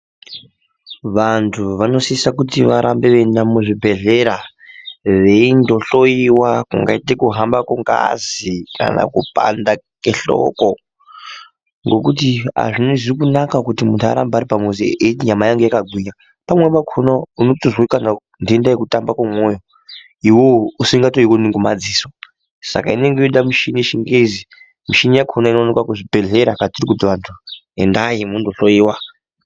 Vantu vonisisa kuti varambe veinda kuzvibhedhlera veindo hloyiwa kungaite kuhamba kwengazi kana kupanda kwehloko ngekuti azvizi kunaka kuti munhu arambe aripamuzi eiti nyama yangu yakagwinya , pamweni pakona unotonzwa kana ndenda yekutamba kwemyoyo iwewe usingatoioni ngemadziso ska inenge Yoda michini yechingezi , muchini yakona inowanikwa kuzvibhedhlera kwatiri kuti antu endai mohloyiwa.